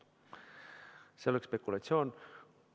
See oleks spekulatsioon.